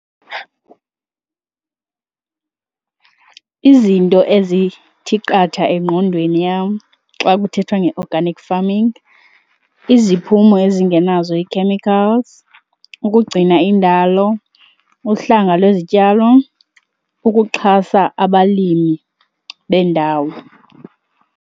Izinto ezithi qatha engqondweni yam xa kuthethwa nge-organic farming, iziphumo ezingenazo ii-chemicals, ukugcina indalo, uhlanga lwezityalo, ukuxhasa abalimi bendawo.